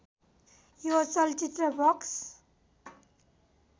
यो चलचित्र बक्स